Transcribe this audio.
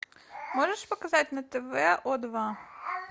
можешь показать на тв о два